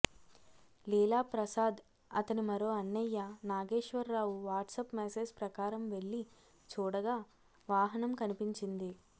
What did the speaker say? లీలాప్రసాద్ అతని మరో అన్నయ్య నాగేశ్వరరావు వాట్సాప్ మెసేజ్ ప్రకారం వెళ్లి చూడగా వాహనం కనిపించింది